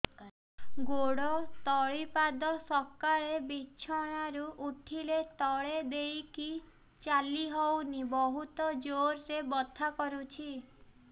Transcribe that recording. ଗୋଡ ତଳି ପାଦ ସକାଳେ ବିଛଣା ରୁ ଉଠିଲେ ତଳେ ଦେଇକି ଚାଲିହଉନି ବହୁତ ଜୋର ରେ ବଥା କରୁଛି